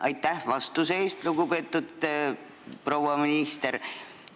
Aitäh vastuse eest, lugupeetud proua minister!